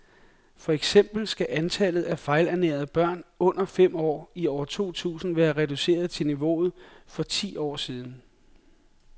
For eksempel skal antallet af fejlernærede børn under fem år i år to tusind være reduceret til niveauet for for ti år siden.